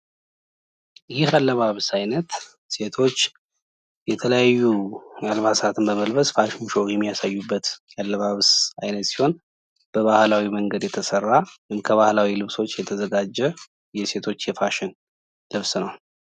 ፋሽን በባህል፣ በቴክኖሎጂ፣ በኢኮኖሚና በፖለቲካዊ ሁኔታዎች ተፅዕኖ የሚፈጥርና የሚንፀባረቅበት ክስተት ነው።